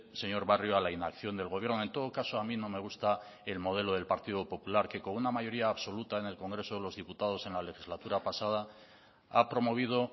señor barrio a la inacción del gobierno en todo caso a mí no me gusta el modelo del partido popular que con una mayoría absoluta en el congreso de los diputados en la legislatura pasada ha promovido